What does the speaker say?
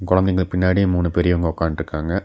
குழந்தைங்க பின்னாடி மூணு பெரியவங்க ஒக்கான்ட்டுருக்காங்க.